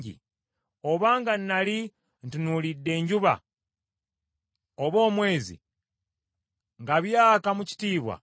obanga nnali ntunuulidde enjuba, oba omwezi nga byaka mu kitiibwa,